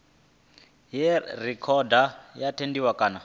ya rekhodo yo tendiwa kana